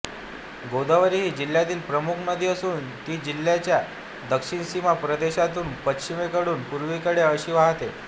गोदावरी ही जिल्ह्यातील प्रमुख नदी असून ती जिल्ह्याच्या दक्षिण सीमा प्रदेशातून पश्चिमेकडून पूर्वेकडे अशी वाहते